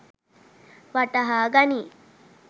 වටහා ගනියි.